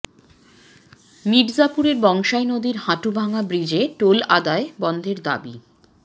মির্জাপুরে বংশাই নদীর হাটুভাঙ্গা ব্রিজে টোল আদায় বন্ধের দাবি